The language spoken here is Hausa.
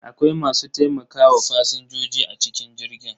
Akwai masu taimakawa fasinjoji a cikin jirgin.